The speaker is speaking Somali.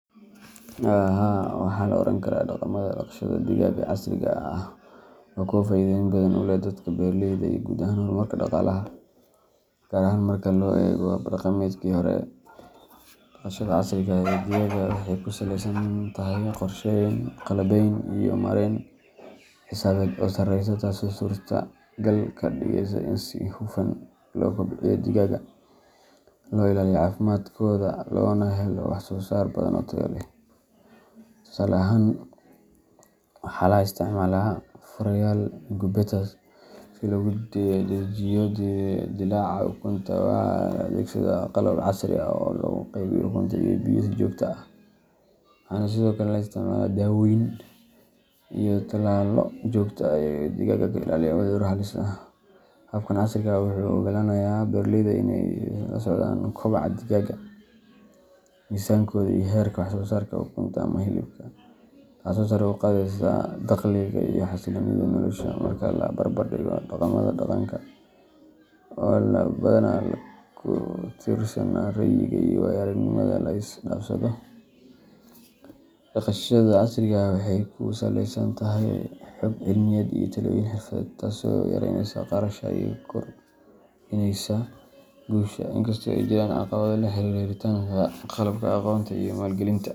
Haa, waxaa la oran karaa dhaqamada dhaqashada digaaga ee casriga ahi waa kuwo faa’iidooyin badan u leh dadka beeraleyda ah iyo guud ahaan horumarka dhaqaalaha, gaar ahaan marka loo eego hab-dhaqameedkii hore. Dhaqashada casriga ah ee digaaga waxay ku saleysan tahay qorsheyn, qalabeyn iyo maarayn xisaabeed oo sareysa, taasoo suurtagal ka dhigaysa in si hufan loo kobciyo digaagga, loo ilaaliyo caafimaadkooda, loona helo wax-soo-saar badan oo tayo leh. Tusaale ahaan, waxaa la isticmaalaa fureyaal incubators si loogu dedejiyo dillaaca ukunta, waxaa la adeegsadaa qalab casri ah oo loogu qaybiyo cunto iyo biyo si joogto ah, waxaana sidoo kale la isticmaalaa daawooyin iyo tallaallo joogto ah oo digaagga ka ilaaliya cudurro halis ah. Habkan casriga ah wuxuu u oggolaanayaa beeraleyda inay la socdaan koboca digaagga, miisaankooda, iyo heerka wax-soo-saarka ukunta ama hilibka, taasoo sare u qaadaysa dakhliga iyo xasiloonida nolosha. Marka la barbar dhigo dhaqamada dhaqanka, oo badanaa ku tiirsanaa ra’yiga iyo waayo-aragnimada la isdhaafsado, dhaqashada casriga ahi waxay ku saleysan tahay xog cilmiyeed iyo talooyin xirfadeed, taasoo yaraynaysa khasaaraha iyo kordhinaysa guusha. Inkastoo ay jiraan caqabado la xiriira helitaanka qalabka, aqoonta iyo maalgelinta.